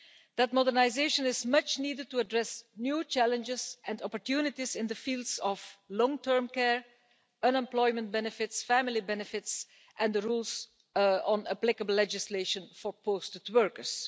That modernisation is much needed to address new challenges and opportunities in the fields of long term care, unemployment benefits, family benefits and the rules on applicable legislation for posted workers.